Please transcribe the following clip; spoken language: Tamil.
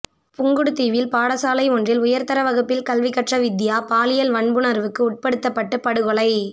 புங்குடுதீவில் பாடசாலை ஒன்றில் உயர்தர வகுப்பில் கல்வி கற்ற வித்தியா பாலியல் வன்புணர்வுக்கு உட்படுத்தப்பட்டு படுகொலை